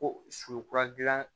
Ko su kura dilan